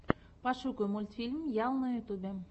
пошукай мультфильм ял на ютубе